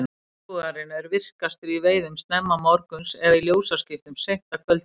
jagúarinn er virkastur í veiðum snemma morguns eða í ljósaskiptum seint að kvöldi